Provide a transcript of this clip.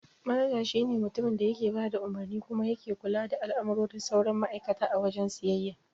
Manaja shi ne mutumin da yake bada umarni kuma yake kula da al'amuran sauran ma'aikata a wajen siyayya.